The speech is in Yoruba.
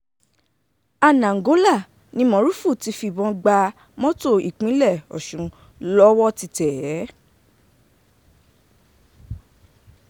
anaǹgólà ni moruf ti fìbọn gba mọ́tò ìpínlẹ̀ ọ̀sùn lọ́wọ́ ti tẹ̀ é